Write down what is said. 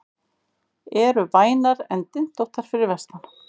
Eru vænar en dyntóttar fyrir vestan